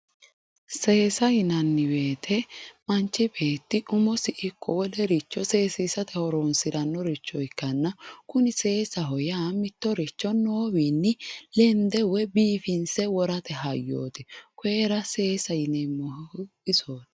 seesa yinanni woyiite manchi beeti umosi ikko wolericho seesiisate horoonsirannoricho ikkaanna kuni seesaho yaa mittoricho noowinni lende woy biifinse worate hayyooti koyiira seesa yineemmohu isooti.